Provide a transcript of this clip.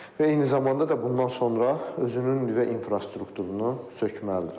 Və eyni zamanda da bundan sonra özünün nüvə infrastrukturunu sökməlidir.